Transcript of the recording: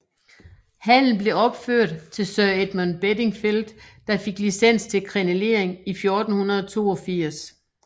Hallen blev opført til Sir Edmund Bedingfeld der fik licens til krenelering i 1482